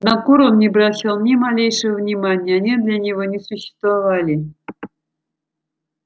на кур он не обращал ни малейшего внимания они для него не существовали